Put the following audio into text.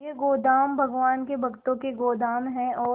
ये गोदाम भगवान के भक्तों के गोदाम है और